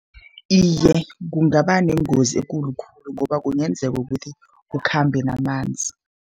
Iye, kungaba nengozi ekulu khulu, ngoba kungenzeka ukuthi kukhambe namanzi.